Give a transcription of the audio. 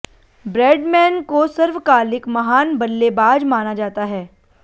Bradman को सर्वकालिक महान बल्लेबाज माना जाता है